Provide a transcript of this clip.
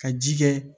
Ka ji kɛ